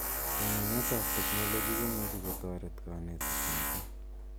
Somanet ab teknoloji komuchi kotaret kanetik mising.